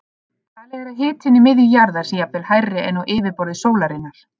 Talið er að hitinn í miðju jarðar sé jafnvel hærri en á yfirborði sólarinnar.